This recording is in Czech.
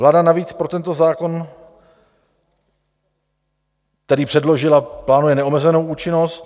Vláda navíc pro tento zákon, který předložila, plánuje neomezenou účinnost.